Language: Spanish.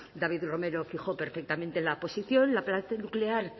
david romero fijó perfectamente la posición la parte nuclear